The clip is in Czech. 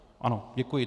Ano, děkuji.